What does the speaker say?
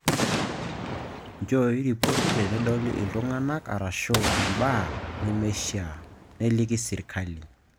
Nchoi ripoti tenidol iltung'anak arashu imbaa nemishaa, niliki sirkali